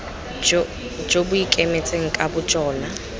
jo bo ikemetseng ka bojona